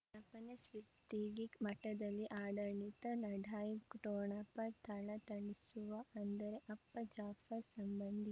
ವಿಜ್ಞಾಪನೆ ಸೃಷ್ಟಿಗೆ ಮಠದಲ್ಲಿ ಆಡಳಿತ ಲಢಾಯಿ ಠೊಣಪ ಥಳಥಳಿಸುವ ಅಂದರೆ ಅಪ್ಪ ಜಾಫರ್ ಸಂಬಂಧಿ